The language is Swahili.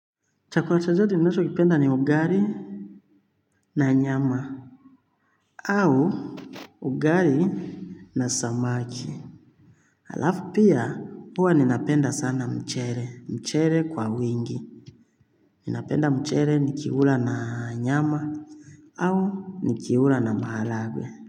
Chakula chochote ninachokipenda ni ugali na nyama au ugari na samaki. Halafu pia huwa ninapenda sana mchele, mchele kwa wingi. Ninapenda mchele nikiula na nyama. Au nikiula na maharagwee.